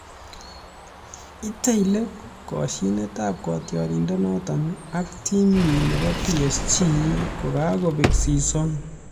Itei let koshinetab kotioriendenoto ak timinyi nebo PSG kokabek season